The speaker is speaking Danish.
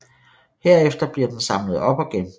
Herefter bliver den samlet op og genbrugt